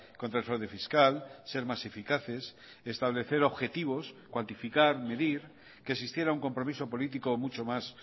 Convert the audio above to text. contra el fraude fiscal ser más eficaces establecer objetivos cuantificar medir que existiera un compromiso político mucho más